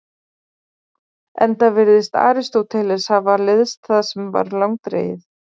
Enda virðist Aristóteles hafa leiðst það sem var langdregið.